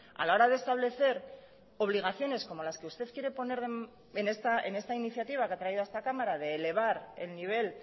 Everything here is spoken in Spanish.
a la hora de establecer obligaciones como las que usted quiere poner en esta iniciativa que ha traído a esta cámara de elevar el nivel